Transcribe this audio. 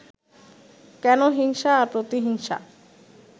কেন হিংসা আর প্রতিহিংসা